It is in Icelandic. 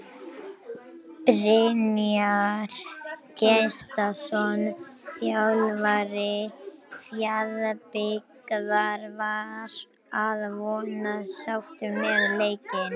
Brynjar Gestsson þjálfari Fjarðabyggðar var að vonum sáttur með leikinn.